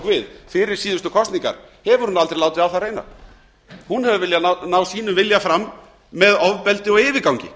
við fyrir síðustu kosningar hefur hún aldrei látið á það reyna hún er að reyna að ná sínum vilja fram með ofbeldi og yfirgangi